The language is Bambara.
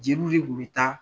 Jeliw de tun bɛ taa